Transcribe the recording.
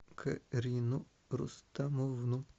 карину рустамовну